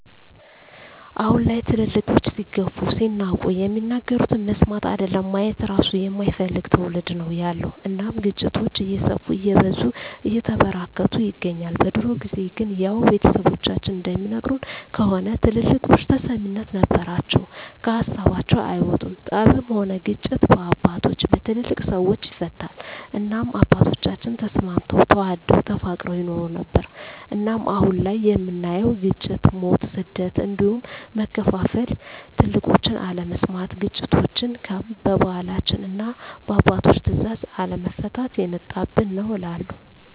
አሁን ላይ ትልልቆች ሲገፉ ሲናቁ የሚናገሩትን መስማት አይደለም ማየት እራሱ የማይፈልግ ትዉልድ ነዉ ያለዉ እናም ግጭቶች እየሰፉ እየበዙ እየተበራከቱ ይገኛል። በድሮ ጊዜ ግን ያዉ ቤተሰቦቻችን እንደሚነግሩን ከሆነ ትልልቆች ተሰሚነት ነበራቸዉ ከሀሳባቸዉ አይወጡም ጠብም ሆነ ግጭት በአባቶች(በትልልቅ ሰወች) ይፈታል እናም አባቶቻችን ተስማምተዉ ተዋደዉ ተፋቅረዉ ይኖሩ ነበር። እናም አሁን ላይ የምናየዉ ግጭ፣ ሞት፣ ስደት እንዲሁም መከፋፋል ትልቆችን አለመስማት ግጭቶችችን በባህላችንና እና በአባቶች ትእዛዝ አለመፍታት የመጣብን ነዉ እላለሁ።